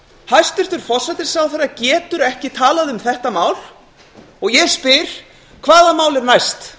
hæstvirtur forsætisráðherra getur ekki talað um þetta mál og ég spyr hvaða mál er næst